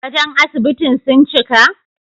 Gadon asibitin sun cika?